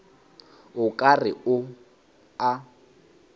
o ka re o a